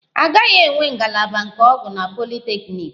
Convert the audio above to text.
A gaghị enwe ngalaba nke ọgwụ na politeknik